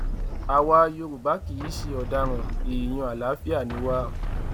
àwa yorùbá kì í ṣe ọdaràn èèyàn àlàáfíà ni wá